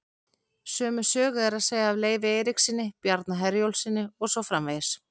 Sömu sögu er að segja af Leifi Eiríkssyni, Bjarna Herjólfssyni og svo framvegis.